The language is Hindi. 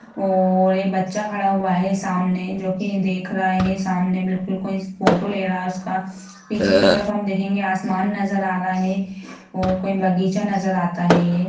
और एक बच्चा खड़ा हुआ है सामने जो कि देख रहा है सामने बिल्कुल कोई फोटो ले रहा है उसका पीछे की तरफ हम देखेंगे आसमान नजर आ रहा है और कोई बगीचा नजर आता है ये।